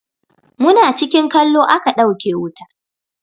Muna cikin kallo a ka ɗauke wuta.